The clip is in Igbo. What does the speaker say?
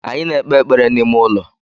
Anyị na-ekpe ekpere n’ime ụlọ